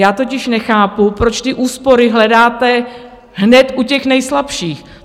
Já totiž nechápu, proč ty úspory hledáte hned u těch nejslabších.